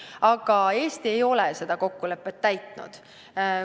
Aga Eesti ei ole seda kokkulepet täitnud.